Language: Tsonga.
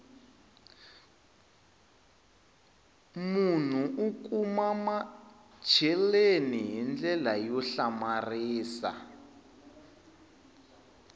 munhu u kumamacheleni hi ndlela yo hlamarisa